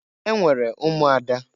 Enwere ụmụada.